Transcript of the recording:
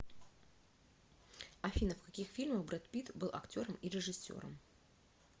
афина в каких фильмах брэд питт был актером и режиссером